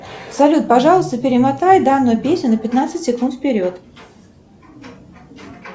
салют пожалуйста перемотай данную песню на пятнадцать секунд вперед